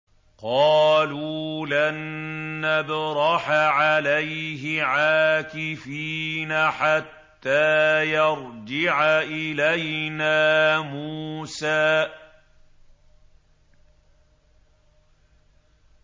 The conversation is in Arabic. قَالُوا لَن نَّبْرَحَ عَلَيْهِ عَاكِفِينَ حَتَّىٰ يَرْجِعَ إِلَيْنَا مُوسَىٰ